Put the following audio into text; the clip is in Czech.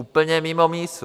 Úplně mimo mísu.